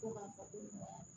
Ko ma fɔ ko